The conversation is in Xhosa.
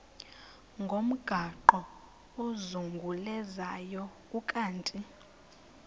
ngomgaqo ozungulezayo ukanti